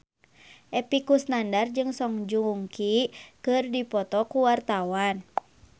Epy Kusnandar jeung Song Joong Ki keur dipoto ku wartawan